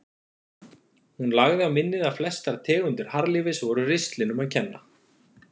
Hún lagði á minnið að flestar tegundir harðlífis voru ristlinum að kenna.